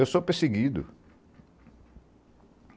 Eu sou perseguido.